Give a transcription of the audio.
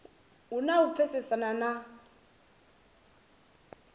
hu na u pfesesana na